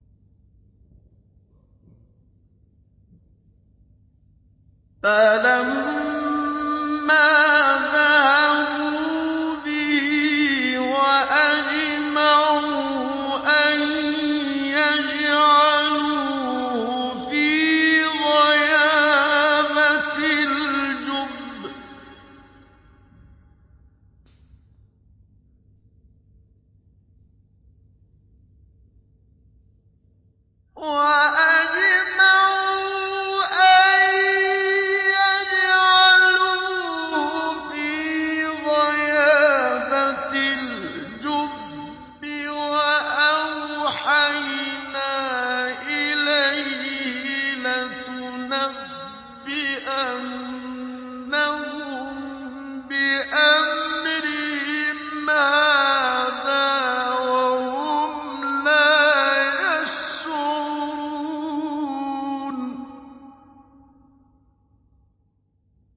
فَلَمَّا ذَهَبُوا بِهِ وَأَجْمَعُوا أَن يَجْعَلُوهُ فِي غَيَابَتِ الْجُبِّ ۚ وَأَوْحَيْنَا إِلَيْهِ لَتُنَبِّئَنَّهُم بِأَمْرِهِمْ هَٰذَا وَهُمْ لَا يَشْعُرُونَ